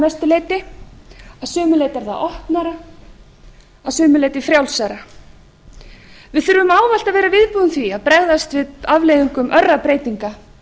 mestu leyti að sumu leyti er það opnara að sumu leyti frjálsara við þurfum ávallt að vera viðbúin því að bregðast við afleiðingum örra breytinga